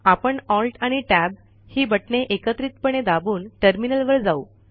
आपण alt आणि tab ही बटणे एकत्रितपणे दाबून टर्मिनलवर जाऊ